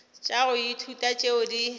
tša go ithuta tšeo di